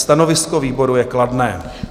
Stanovisko výboru je kladné.